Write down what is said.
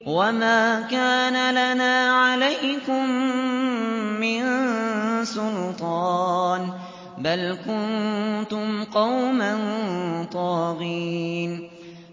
وَمَا كَانَ لَنَا عَلَيْكُم مِّن سُلْطَانٍ ۖ بَلْ كُنتُمْ قَوْمًا طَاغِينَ